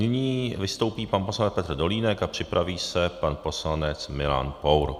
Nyní vystoupí pan poslanec Petr Dolínek a připraví se pan poslanec Milan Pour.